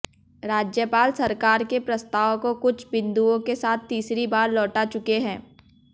राज्यपाल सरकार के प्रस्ताव को कुछ बिंदुओं के साथ तीसरी बार लौटा चुके हैं